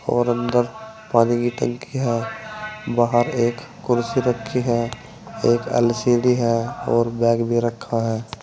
और अंदर पानी की टंकी है बाहर एक कुर्सी रखी है एक एल_सी_डी है और बैग भी रखा है।